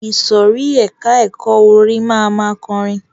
Ìsòrí ẹka ẹ̀kọ́ orin máa ma kọrin.